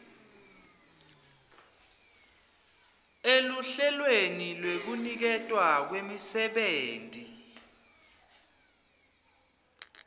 eluhlelweni lwekuniketwa kwemisebenti